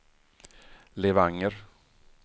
Levanger